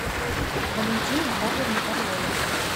валентина павловна орлова